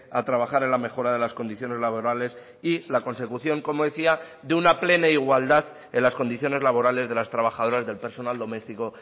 a trabajar en la mejora de las condiciones laborales y la consecución como decía de una plena igualdad en las condiciones laborales de las trabajadoras del personal doméstico